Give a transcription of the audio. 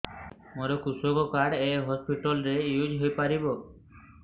ମୋର କୃଷକ କାର୍ଡ ଏ ହସପିଟାଲ ରେ ୟୁଜ଼ ହୋଇପାରିବ